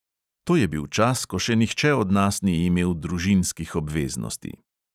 To je bil čas, ko še nihče od nas ni imel družinskih obveznosti.